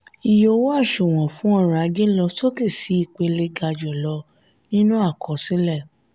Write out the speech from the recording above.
ìyè owó àsùnwòn fún orò-ajé ló sókè sí ìpele gajulo nínú àkọsílẹ.